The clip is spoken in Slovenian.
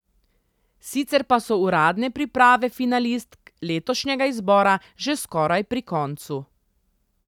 Sicer pa so uradne priprave finalistk letošnjega izbora že skoraj pri koncu.